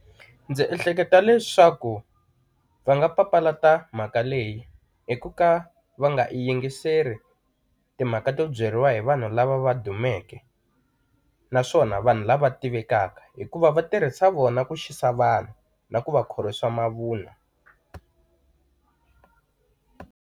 Ndzi ehleketa leswaku va nga papalata mhaka leyi hi ku ka va nga i yingiseli timhaka to byeriwa hi vanhu lava va dumeke, naswona vanhu lava tivekaka hikuva va tirhisa vona ku xisa vanhu, na ku va khorwisa mavunwa.